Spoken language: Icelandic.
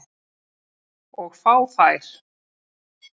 Og fá þær.